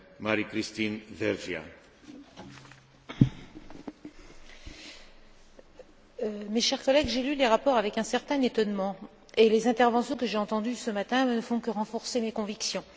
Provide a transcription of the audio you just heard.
Monsieur le Président, chers collègues, j'ai lu les rapports avec un certain étonnement. Et les interventions que j'ai entendues ce matin ne font que renforcer mes convictions.